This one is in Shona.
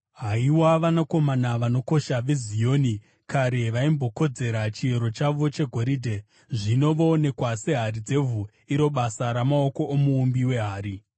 Haiwa vanakomana vanokosha veZioni, kare vaimbokodzera chiero chavo chegoridhe, zvino voonekwa sehari dzevhu, iro basa ramaoko omuumbi wehari!